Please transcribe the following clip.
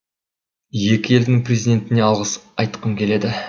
екі елдің президентіне алғыс айтқым келеді